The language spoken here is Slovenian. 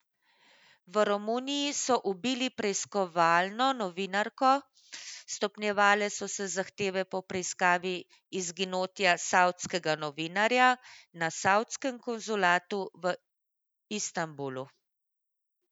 V Romuniji so ubili preiskovalno novinarko, stopnjevale so se zahteve po preiskavi izginotja savdskega novinarja na savdskem konzulatu v Istanbulu.